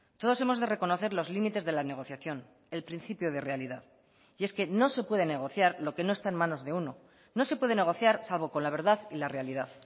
todos hemos de reconocer los límites de la negociación el principio de realidad y es que no se puede negociar lo que no está en manos de uno no se puede negociar salvo con la verdad y la realidad